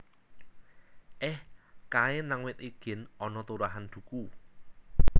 Eh kae nang wit igin ana turahan duku